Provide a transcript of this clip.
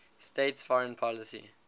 states foreign policy